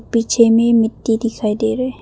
पीछे में मिट्टी दिखाई दे रहे।